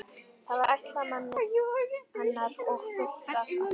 Það var ætlað manni hennar og fullt af ástríki.